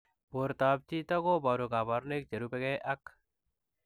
Portoop chitoo kobaruu kabarunaik cherubei ak